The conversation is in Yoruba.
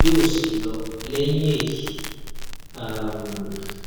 yóò sì lọ lẹyìn èyí um